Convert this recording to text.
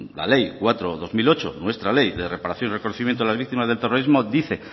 la ley cuatro barra dos mil ocho nuestra ley de reparación y reconocimiento de las víctimas del terrorismo dice